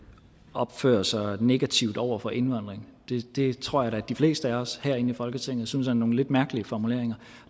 opfører sig negativt over for indvandring det tror jeg da at de fleste af os herinde i folketinget synes er nogle lidt mærkelige formuleringer